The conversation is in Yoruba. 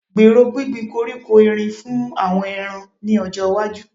Gbèrò gbíngbin koríko Erin fún àwọn ẹran ní ọjọ́ iwájú